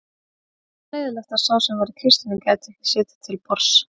Auðvitað leiðinlegt að sá sem var í kistunni gæti ekki setið til borðs